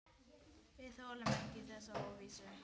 Við þolum ekki þessa óvissu.